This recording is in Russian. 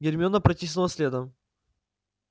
гермиона протиснула следом